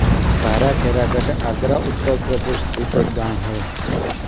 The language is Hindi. भारा खैरागढ़ आगरा उत्तर प्रदेश स्थित एक गाँव है